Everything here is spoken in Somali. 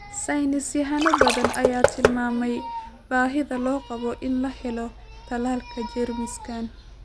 Saynis yahano badan ayaa tilmaamay baahida loo qabo in la helo tallaalka jeermiskan.